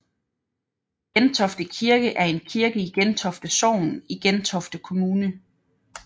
Gentofte Kirke er en kirke i Gentofte Sogn i Gentofte Kommune